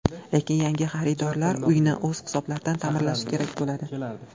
Lekin yangi xaridorlar uyni o‘z hisoblaridan ta’mirlashi kerak bo‘ladi.